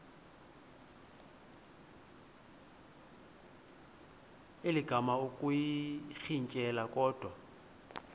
elinga ukuyirintyela kodwa